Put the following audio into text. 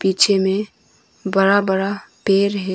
पीछे में बरा बरा पेर है।